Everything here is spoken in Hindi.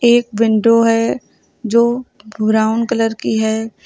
एक विंडो है जो ब्राऊन कलर की है।